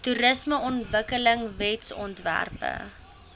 toerismeontwikkelingwetsontwerpe